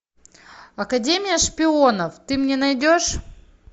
академия шпионов ты мне найдешь